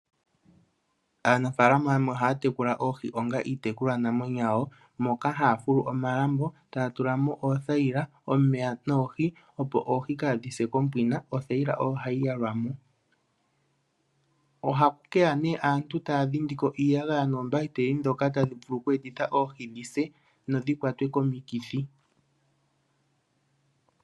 Aanafalama yamwe ohaya tekula oohi onga iitekulwa namwenyo yawo moka hafulu omalambo taya tulamo oothayila , omeya noohi. Opo oohi kadhise kompina othayila ohayi yalwamo. Ohaku keya nee aantu taya dhindiko iiyagaya noombahiteli dhokatadhi vulu okwe etitha oohi dhise nodhi kwatwe komikithi.